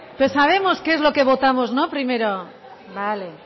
pero sabemos qué es lo que votamos primero no vale